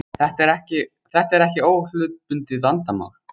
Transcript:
Þetta er ekki óhlutbundið vandamál